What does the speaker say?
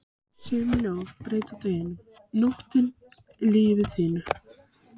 Sum ljóð breyta deginum, nóttinni, lífi þínu.